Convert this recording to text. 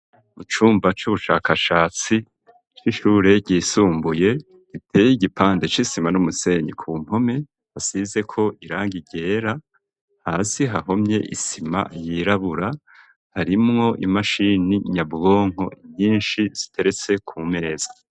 Mu cumba c'ubushakashatsi c'ishure ryisumbuye giteye igipande c'isima n'umusenyi ku mpome hasizeko irangi ryera hasi hahomye isima yirabura harimwo i mashini nyabwonko nyinshi ziteretse ku meza.